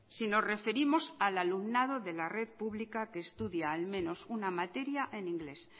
si nos referimos al alumnado de la red pública que estudia al menos una materia en inglés